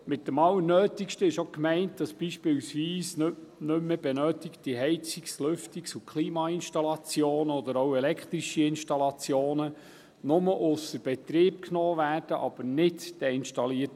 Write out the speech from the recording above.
Mit dem Allernötigsten ist auch gemeint, dass beispielsweise nicht mehr benötigte Heizungs-, Lüftungs- und Klimainstallationen oder elektrische Installationen nur ausser Betrieb genommen werden, aber nicht deinstalliert.